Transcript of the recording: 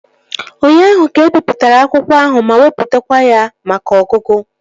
Ụnyaahụ ka ebipụtara akwụkwọ ahụ ma wepụtakwa ya maka ọgụgụ